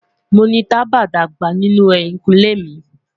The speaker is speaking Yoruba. Mo ni taba dagba ninu ehinkunle mi